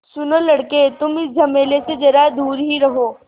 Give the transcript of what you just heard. सुनो लड़के तुम इस झमेले से ज़रा दूर ही रहो